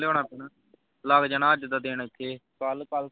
ਲਿਆਉਣਾ ਪੈਣਾ ਲੱਗ ਜਾਣਾ ਅੱਜ ਦਾ ਦਿਨ ਏਥੇ ਕਲ ਕਲ